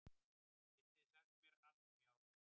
Getið þið sagt mér allt um járn?